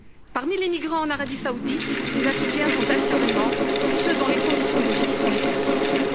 Parmi les migrants en Arabie Saoudite, les Éthiopiens sont assurément ceux dont les conditions de vie sont les plus difficiles.